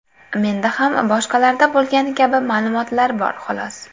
Menda ham boshqalarda bo‘lgani kabi ma’lumotlar bor, xolos.